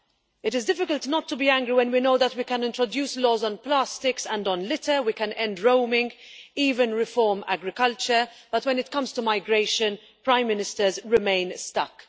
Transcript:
It is difficult not to be angry when we know that we can introduce laws on plastics and on litter, we can end roaming, we can even reform agriculture, but when it comes to migration, prime ministers remain stuck.